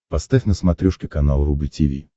поставь на смотрешке канал рубль ти ви